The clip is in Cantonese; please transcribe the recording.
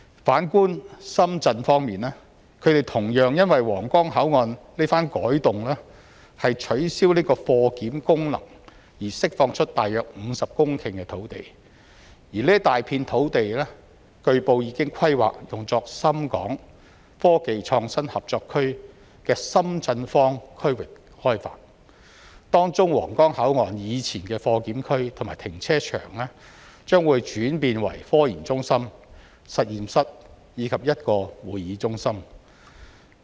反觀深圳方面，他們同樣因為皇崗口岸這番改動取消貨檢功能，而釋放出大約50公頃土地，這大片土地據報已規劃用作深港科技創新合作區的深圳方區域開發，當中皇崗口岸以前的貨檢區和停車場，將會轉變成科研中心、實驗室及一個會議中心。